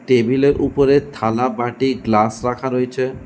তেবিল এর উপরে থালা বাটি গ্লাস রাখা রয়েছে।